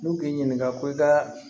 N'u k'i ɲininka ko i ka